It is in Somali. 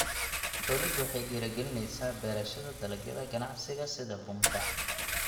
Dawladdu waxay dhiirigelinaysaa beerashada dalagyada ganacsiga sida bunka.